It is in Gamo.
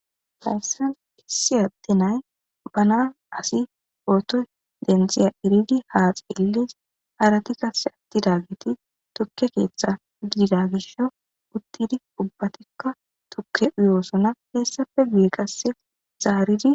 layssan kissi adde nay bana asi ootoy denxiya iridi haaxe illis harati kasse attida giti tukke keeththe gidida gisho uttidi ubbatikka tukke uyoosona heessappe guye kasse zaaridi